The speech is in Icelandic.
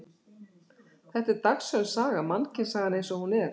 Þetta er dagsönn saga, mannkynssagan eins og hún er.